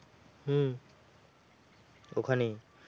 ওখানেই,